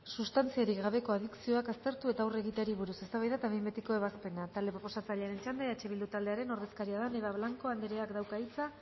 substantziarik gabeko adikzioak aztertu eta aurre egiteari buruz eztabaida eta behin betiko ebazpena talde proposatzailearen txanda eh bildu taldearen ordezkaria den eva blanco andereak dauka hitza